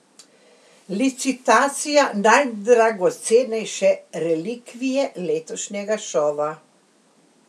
Licitacija najdragocenejše relikvije letošnjega šova.